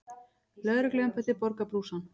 Lögregluembættið borgar brúsann.